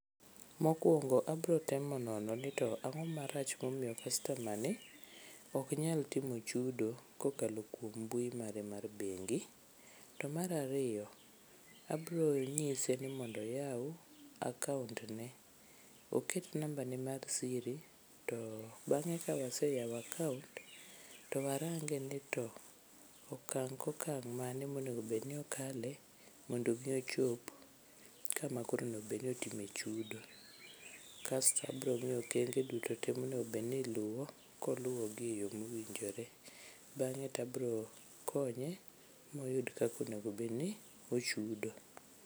Mokwongo abrotemo nono ni to ang'o marach momiyo kastama ni ok nyal timo chudo kokalo kuom mbui mare mar bengi. To marariyo, abrong'ise ni mondo oyaw akaont ne oket namba ne mar siri. To bang'e ka waseyawo akaont to warange ni to okang' kokang' mane monegobdni okale mondo mi ochop kama koro onegobedni otime chudo. Kasto abrong'iyo okenge duto te monegobedni iluwo, koluwogi e yo mowinjore. Bang'e tabro konye moyud kakonego bedni ochudo.